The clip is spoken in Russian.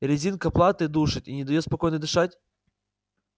резинка платы душит и не даёт спокойно дышать